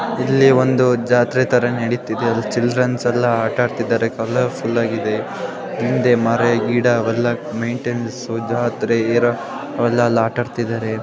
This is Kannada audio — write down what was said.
ಇಲ್ಲಿ ಒಂದು ಜಾತ್ರೆ ನಡೀತಿದೆ ಇದೆ ಅಲ್ಲಿ ಚಿಲ್ಡ್ರನ್ಸ್ ಎಲ್ಲಾ ಆಟ್ಟಾಡ್ತಿದಾರೆ ಕಲರ್ಫುಲ್ಲಾಗಿದೆ ಹಿಂದೆ ಮರ ಗಿಡ ಅವೆಲ್ಲಾ ಮೇಂಟೇನೆನ್ಸು ಜಾತ್ರೆ ಇರ ಅವೆಲ್ಲ ಅಲ್ಲಿ ಆಟ್ಟಡ್ತಿದರೆ.